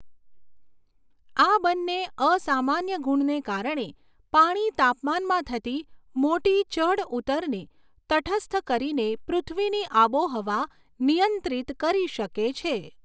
આ બંને અસામાન્ય ગુણને કારણે પાણી તાપમાનમાં થતી મોટી ચઢઉતરને તટસ્થ કરીને પૃથ્વીની આબોહવા નિયંત્રિત કરી શકે છે.